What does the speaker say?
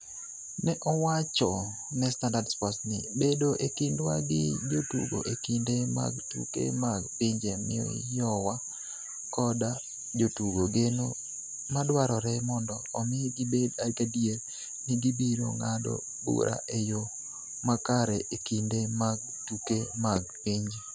Ne owacho ne Standard Sports ni, "Bedo e kindwa gi jotugo e kinde mag tuke mag pinje miyowa koda jotugo geno madwarore mondo omi gibed gadier ni gibiro ng'ado bura e yo makare e kinde mag tuke mag pinje".